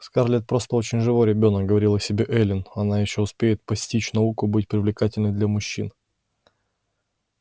скарлетт просто очень живой ребёнок говорила себе эллин она ещё успеет постичь науку быть привлекательной для мужчин